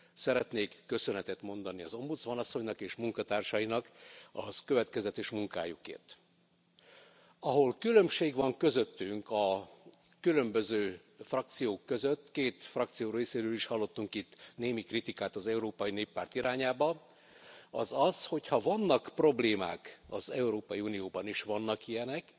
Szeretnék köszönetet mondani az ombudsman asszonynak és munkatársainak a következetes munkájukért. Ahol különbség van közöttünk, a különböző frakciók között két frakció részéről is hallottunk itt némi kritikát az Európai Néppárt irányába az az, hogy ha vannak problémák az Európai Unióban, és vannak ilyenek,